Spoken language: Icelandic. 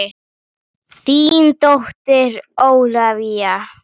Þín dóttir Ólafía.